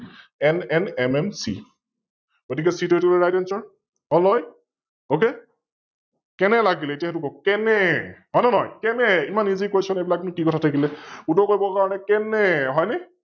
NNMMC গতিকে C এইতো RightAnswer, হল নহয়? Ok? কেনে লাগিলে এতিয় সৈটো কওক? কেনে? হয় নে নহয়? কেনে? ইমান EasyQuestion এইবিলাকনো কি কথা থাকিলে? কোনেৱে কৰিবৰ কাৰনে, কেনে? হয় নে?